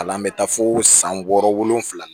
Al'an bɛ taa fo san wɔɔrɔ wolonwula na